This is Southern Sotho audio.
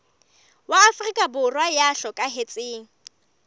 wa afrika borwa ya hlokahetseng